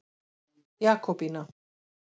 Jakobína